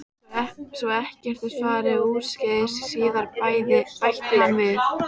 Svo ekkert fari úrskeiðis síðar bætti hann við.